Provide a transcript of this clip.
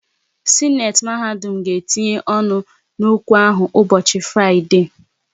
Sịnate mahadum ga etinye ọnụ n'okwu ahụ ụbọchị Fraịdee